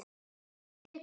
Sú sem tekur við.